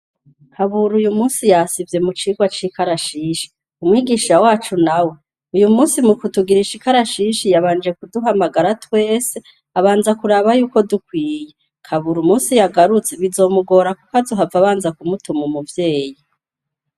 Kaburu uyu musi yasivye mu cirwa c'ikarashishi umwigisha wacu na we uyu musi mukutugiraisha ikarashishi yabanje kuduhamagara twese abanza kuraba yuko dukwiye kabura musi yagarutse bizomugora, kuko azuhava abanza ku mutuma umuvyeyi.